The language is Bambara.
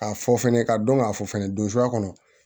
K'a fɔ fɛnɛ ka dɔn k'a fɔ fɛnɛ don zuran kɔnɔ